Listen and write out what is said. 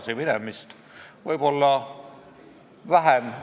Sealgi polnud küsimus kas eesti või vene keeles teenindamises.